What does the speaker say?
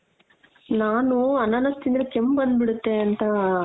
ನಾನು ಅನಾನಸ್ ತಿಂದ್ರೆ ಕೆಮ್ಮ್ ಬಂದ್ ಬಿಡುತ್ತೆ ಅಂತ